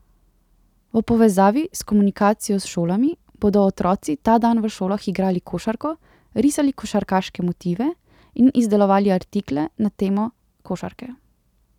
V povezavi s komunikacijo s šolami, bodo otroci ta dan v šolah igrali košarko, risali košarkarske motive in izdelovali artikle na temo košarke.